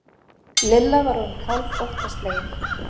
Lilla var orðin hálf óttaslegin.